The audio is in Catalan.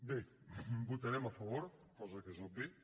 bé votarem a favor cosa que és òbvia